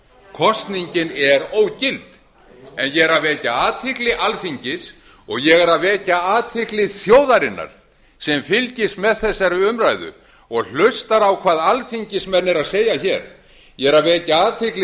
kosningin er ógild ég er að vekja athygli alþingis og ég er að vekja athygli þjóðarinnar sem fylgist með þessari umræðu og hlustar á hvað alþingismenn eru að segja hér ég er að vekja athygli